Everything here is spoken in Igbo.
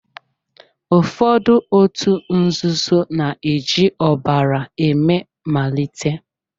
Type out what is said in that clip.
Ụfọdụ òtù nzuzo na-eji ọbara eme malite.